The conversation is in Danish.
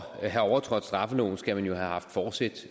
at have overtrådt straffeloven skal man jo haft forsæt